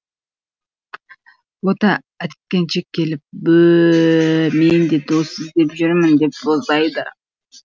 бота әткеншек келіп бө ө ө мен де дос іздеп жүрмін деп боздайды